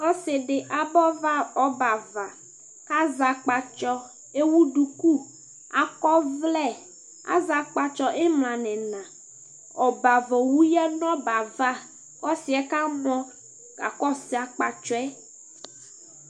ɔse di aba ɔbɛ ava k'azɛ akpatsɔ ewu duku akɔ ɔvlɛ azɛ akpatsɔ imla n'ina ɔbɛ ava owu yadu n'ɔbɛ ava ɔsiɛ kamɔ kakɔsu akpatsɔɛ